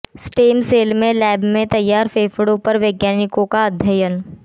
stem cell से lab में तैयार फेफड़ों पर वैज्ञानिकों का अध्ययन